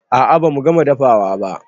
A'a bamu gama dafawa ba